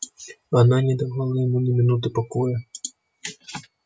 она не давала ему ни минуты покоя